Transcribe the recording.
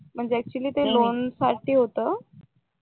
म्हणजे ऍक्च्युली ते लोणसाठी होत